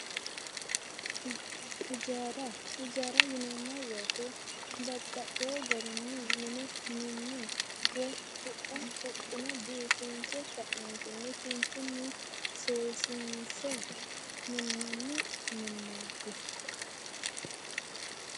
Hijaara, hijaara yineemmo woyte babbaxewo garini mine minne woyi huxxa huxine biifinse ka'neentinni kinchuni seesinse minanni minnati